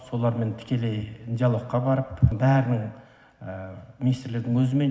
солармен тікелей диалогқа барып бәрінің министрлердің өзімен